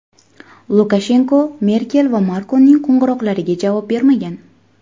Lukashenko Merkel va Makronning qo‘ng‘iroqlariga javob bermagan.